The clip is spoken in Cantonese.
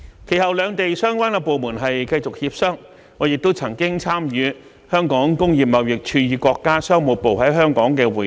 其後兩地相關部門繼續協商，我亦曾參與香港工業貿易署與國家商務部在香港的會談。